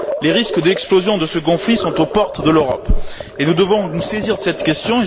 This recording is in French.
Les risques d'explosion de ce conflit sont aux portes de l'Europe et nous devons nous saisir de cette question.